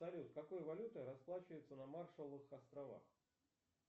салют какой валютой расплачиваются на маршалловых островах